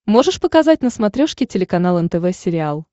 можешь показать на смотрешке телеканал нтв сериал